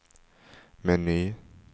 meny